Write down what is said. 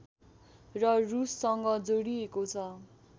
र रुससँग जोडिएको छ